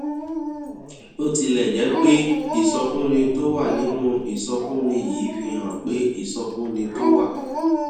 bó tilẹ jẹ pé ìsọfúnni tó wà nínú ìsọfúnni yìí fi hàn pé ìsọfúnni tó wà